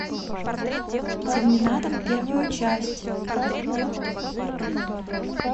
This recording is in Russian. терминатор первую часть